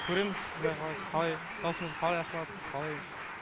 көреміз құдай қала қалай дауысымыз қалай ашылады қалай